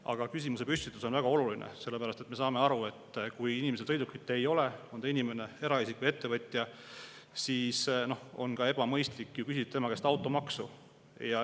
Aga küsimusepüstitus on väga oluline, sellepärast et me saame aru, et kui inimesel sõidukit ei ole – on ta eraisik või ettevõtja –, siis on ka ebamõistlik küsida tema käest automaksu.